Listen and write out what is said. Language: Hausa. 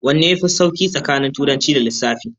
Wanne yafi sauki tsakanin Turanci da Lissafi?